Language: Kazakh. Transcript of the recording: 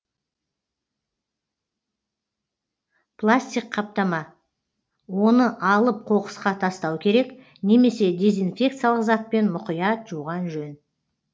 пластик қаптама оны алып қоқысқа тастау керек немесе дезинфекциялық затпен мұқият жуған жөн